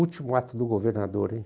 Último ato do governador, hein?